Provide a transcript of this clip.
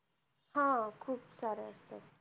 हम्म खुप साऱ्या